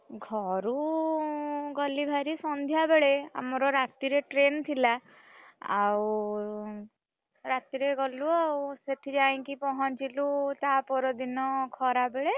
ଘରୁ ଗଲି ବାହାରି ସନ୍ଧ୍ୟା ବେଳେ ଆମର ରାତିରେ train ଥିଲା ଆଉ, ରାତିରେ ଗଲୁ ଆଉ, ସେଠି ଯାଇଁକି ପହଞ୍ଚିଲୁ ତା ପରଦିନ ଖରାବେଳେ।